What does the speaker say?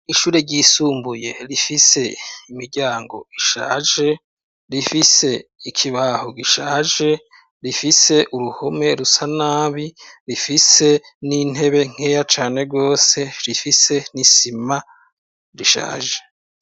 Ishure ryisumbuye, rifise imiryango ishaje, rifise ikibaho gishaje, rifise uruhome rusa nabi, rifise n'intebe nkeya cane rwose, rifise n'isima rishaje.